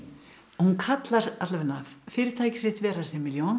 hún kallar alla vega fyrirtækið sitt Vera